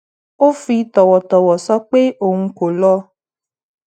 ó fi tòwòtòwò sọ pé òun kò lọ